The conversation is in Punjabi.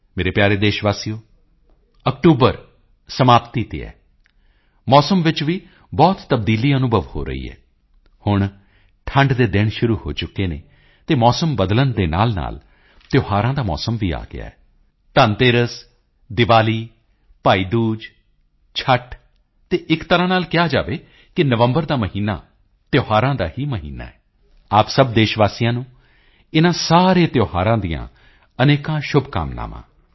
ਮੇਰੇ ਪਿਆਰੇ ਦੇਸ਼ ਵਾਸੀਓ ਅਕਤੂਬਰ ਸਮਾਪਤੀ ਤੇ ਹੈ ਮੌਸਮ ਵਿੱਚ ਵੀ ਬਹੁਤ ਤਬਦੀਲੀ ਅਨੁਭਵ ਹੋ ਰਹੀ ਹੈ ਹੁਣ ਠੰਢ ਦੇ ਦਿਨ ਸ਼ੁਰੂ ਹੋ ਚੁੱਕੇ ਹਨ ਅਤੇ ਮੌਸਮ ਬਦਲਣ ਦੇ ਨਾਲਨਾਲ ਤਿਓਹਾਰਾਂ ਦਾ ਮੌਸਮ ਵੀ ਆ ਗਿਆ ਹੈ ਧਨਤੇਰਸ ਦੀਵਾਲੀ ਭਾਈ ਦੂਜ ਛੇਵੀਂ ਤਿੱਥ ਅਤੇ ਇੱਕ ਤਰ੍ਹਾਂ ਨਾਲ ਕਿਹਾ ਜਾਵੇ ਕਿ ਨਵੰਬਰ ਦਾ ਮਹੀਨਾ ਤਿਓਹਾਰਾਂ ਦਾ ਹੀ ਮਹੀਨਾ ਹੈ ਆਪ ਸਭ ਦੇਸ਼ ਵਾਸੀਆਂ ਨੂੰ ਇਨਾਂ ਸਾਰੇ ਤਿਓਹਾਰਾਂ ਦੀਆਂ ਅਨੇਕਾਂ ਸ਼ੁਭਕਾਮਨਾਵਾਂ